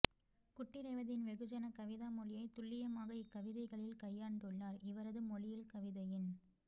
குட்டிரேவதியின் வெகுஜன கவிதா மொழியை துல்லியமாக இக்கவிதைகளில் கையாண்டுள்ளார் இவரது மொழியில் கவிதையின்